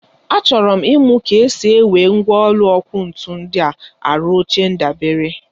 Achọrọ m ịmụ ka ha si ewe mgwọlụ ọkụ ntu ndịa arụ oche ndabere.